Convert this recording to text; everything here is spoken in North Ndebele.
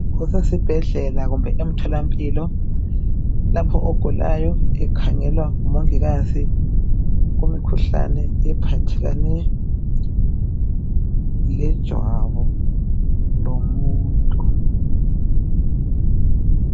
Kusesibhedlela kumbe emtholampilo lapho ogulayo ekhangelwa ngumongikazi kumikhuhlane ephathelane lejwabu lomuntu.